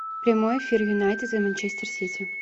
прямой эфир юнайтед и манчестер сити